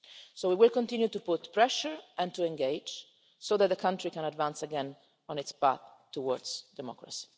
So we will continue to put pressure and to engage so that the country can advance again on its path towards democracy.